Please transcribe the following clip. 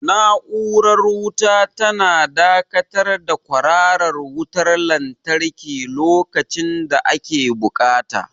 Na'urar raba wuta tana dakatar da kwararar wutar lantarki lokacin da ake buƙata.